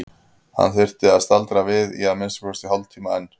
Hann þyrfti að staldra við í að minnsta kosti hálftíma enn.